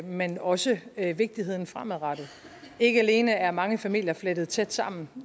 men også vigtigheden fremadrettet ikke alene er mange familier flettet tæt sammen